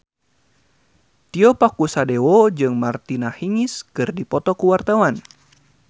Tio Pakusadewo jeung Martina Hingis keur dipoto ku wartawan